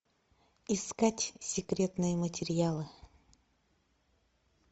искать секретные материалы